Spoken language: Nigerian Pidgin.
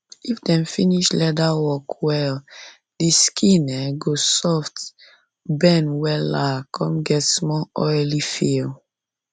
if dem finish leather work well the skin um go soft, bend wella come get small oily feel